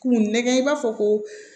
K'u nɛgɛn i b'a fɔ ko